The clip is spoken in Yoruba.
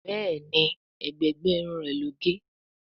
Béèni ègbé gbé Irun rẹ ló gé.